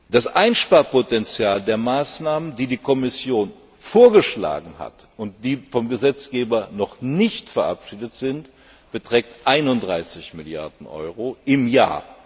Das Einsparpotenzial der Maßnahmen, die die Kommission vorgeschlagen hat und die vom Gesetzgeber noch nicht verabschiedet sind, beträgt 31 Mrd. Euro im Jahr.